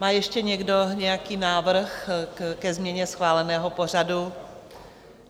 Má ještě někdo nějaký návrh ke změně schváleného pořadu?